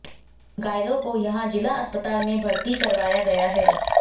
घायलों को यहां जिला अस्पताल में भर्ती करवाया गया है